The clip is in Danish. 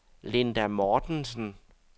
Linda Mortensen